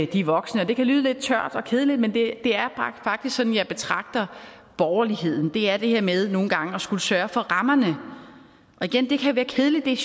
de voksne det kan lyde lidt tørt og kedeligt men det er faktisk sådan jeg betragter borgerligheden det er det her med nogle gange at skulle sørge for rammerne og igen det kan være kedeligt